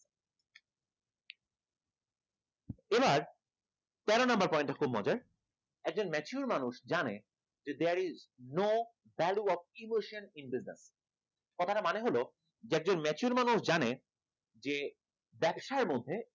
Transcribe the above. এবার তেরো number point খুব মজার, একজন mature মানুষ জানে there is no value of emotions in deserve কথাটা মানে হলো যে একজন mature মানুষ জানে যে ব্যবসার মধ্যে